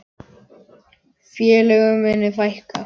Félögum muni fækka.